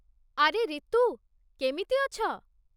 ଆରେ ରିତୁ, କେମିତି ଅଛ?